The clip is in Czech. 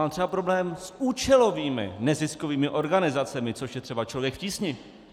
Mám třeba problém s účelovým neziskovými organizacemi, což je třeba Člověk v tísni.